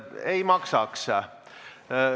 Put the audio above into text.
Ei maksaks.